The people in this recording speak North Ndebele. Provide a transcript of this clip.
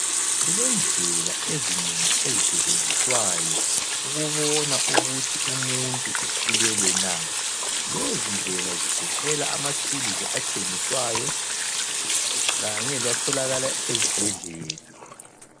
Kulendlela ezinengi ezisetshenziswayo ukubona ukuthi umuntu ukhulelwe na. Lezi ndlela zigoqela ama thuluzi atshengiswayo kanye latholakala ezibhedlela.